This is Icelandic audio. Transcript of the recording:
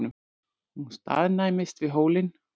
Hún staðnæmist við hólinn.